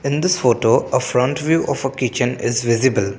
in this photo of front view of a kitchen is visible.